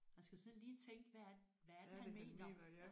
Man skal sådan lige tænke hvad er hvad er det han mener